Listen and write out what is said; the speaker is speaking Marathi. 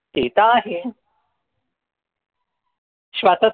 ते त आहे स्वरात